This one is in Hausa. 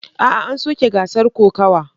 A'a, an soke gasar kokawa.